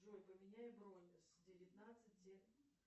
джой поменяй бронь с девятнадцати